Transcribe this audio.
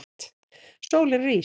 Sólin rís.